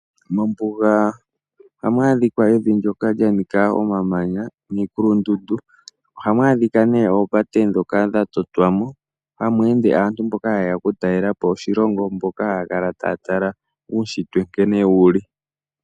Mombuga ohamu adhika evi ndoka lya nika omamanya niikulundundu. Ohamu adhika nee oopate ndhoka dha totwamo hamu ende aantu mboka hayeya oku talelapo oshilongo mboka haya kala taya tala uushitwe nkene wuli.